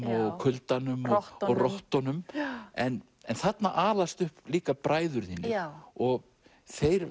og kuldanum og rottunum rottunum en þarna alast upp líka bræður þínir og þeir